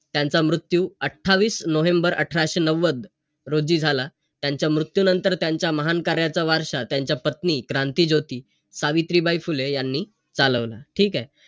त्यांचा मृत्यू अठ्ठावीस नोव्हेंबर अठराशे नव्वद रोजी झाला. त्यांच्या मृत्युंनतर त्यांच्या महान कार्याचा वारसा, त्यांच्या पत्नी क्रांतीज्योती सावित्रीबाई फुले यांनी चालवला. ठीकेय?